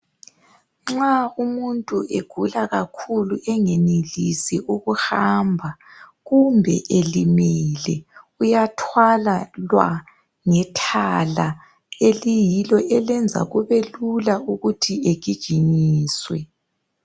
Nxa umuntu egula kakhulu engenelisi ukuhamba kumbe elimele, uyathwalwa ngethala eliyilo elenza kube lula ukuthi egijinyiswe.